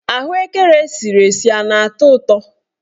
Ahụekere esiri esi a na-atọ ụtọ?